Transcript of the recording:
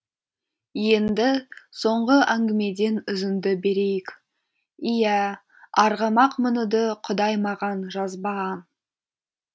енді соңғы әңгімеден үзінді берейік иә арғымақ мінуді құдай маған жазбаған